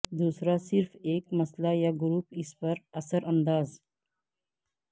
دوسرا صرف ایک مسئلہ یا گروپ اس پر اثر انداز